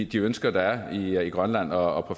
de ønsker der er i grønland og